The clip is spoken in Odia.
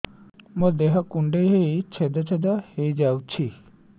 ମୋ ଦେହ କୁଣ୍ଡେଇ ହେଇ ଛେଦ ଛେଦ ହେଇ ଯାଉଛି